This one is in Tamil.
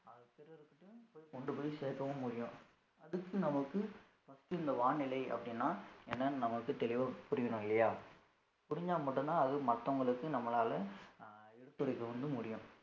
கொண்டு போய் சேர்க்கவும் முடியும் அடுத்து நமக்கு first இந்த வானிலை அப்படின்னா என்னன்னு நம்மளுக்கு தெளிவா புரியணும் இல்லையா புரிஞ்சா மட்டும்தான் அதுவும் மத்தவங்களுக்கு நம்மளால அஹ் எடுத்துரைக்க வந்து முடியும்